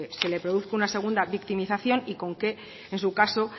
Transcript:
se le produce una segunda victimización y con que en su caso